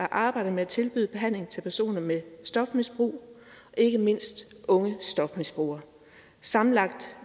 arbejde med at tilbyde behandling til personer med stofmisbrug ikke mindst unge stofmisbrugere sammenlagt